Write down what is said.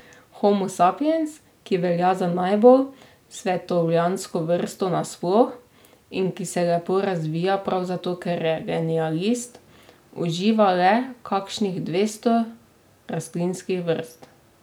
Homo sapiens, ki velja za najbolj svetovljansko vrsto nasploh in ki se lepo razvija prav zato, ker je generalist, uživa le kakšnih dvesto rastlinskih vrst.